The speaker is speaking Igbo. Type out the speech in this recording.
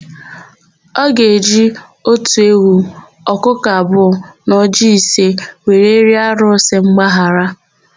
Ọ ga-eji otu ewu, ọkụkọ abụọ na ọjịị ise wee rịọ arụsị mgbaghara.